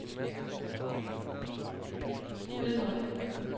Gydhøj